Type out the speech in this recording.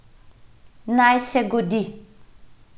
Naj se godi.